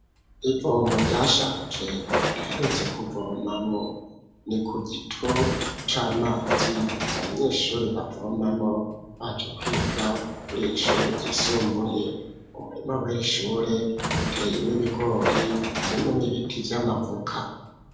Ivomo ryashaje, badaherutse kuvomamwo; ni ku gito c'amazi, abanyeshure bavomamwo, baje kwiga, kuri iri shure ryisumbuye; umurima w'iri shure, uteyemwo ibigori, harimwo n'ibiti vy'amavoka.